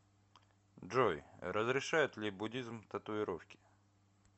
джой разрешает ли буддизм татуировки